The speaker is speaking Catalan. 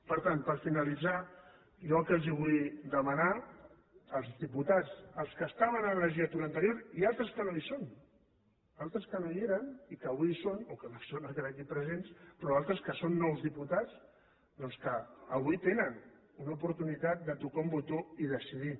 per tant per finalitzar jo el que els vull demanar als diputats als que estaven en la legislatura anterior i a altres que no hi són a altres que no hi eren i que avui hi són o que no hi són ara aquí presents però a altres que són nous diputats doncs que avui tenen una oportunitat de tocar un botó i decidir